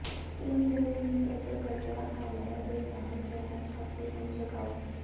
ਤਿਲ ਦੇ ਬੀਜ ਅਤੇ ਕੱਟਿਆ ਆਲ੍ਹਣੇ ਦੇ ਨਾਲ ਤਿਆਰ ਛਾਤੀ ਨੂੰ ਛਕਾਓ